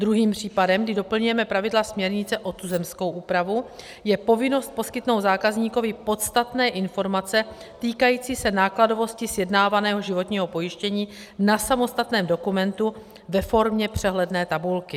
Druhým případem, kdy doplňujeme pravidla směrnice o tuzemskou úpravu, je povinnost poskytnout zákazníkovi podstatné informace týkající se nákladovosti sjednávaného životního pojištění na samostatném dokumentu ve formě přehledné tabulky.